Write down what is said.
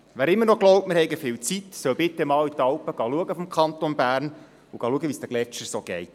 Wer immer noch glaubt, wir hätten viel Zeit, soll bitte mal die Alpen im Kanton Bern besuchen und schauen, wie es den Gletschern so geht.